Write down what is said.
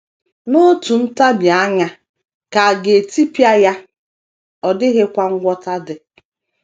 “ N’otu ntabi anya ka a ga - etipịa ya, ọ dịghịkwa ngwọta dị. ”